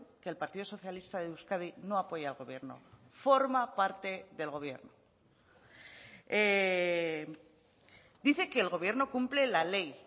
que el partido socialista de euskadi no apoya al gobierno forma parte del gobierno dice que el gobierno cumple la ley